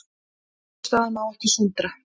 Niðurstaðan má ekki sundra